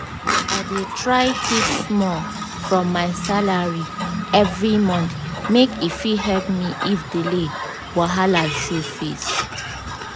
i dey try keep small from my salary every month make e fit help me if delay wahala show face.